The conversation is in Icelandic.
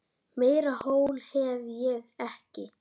Meira hól hef ég ekki.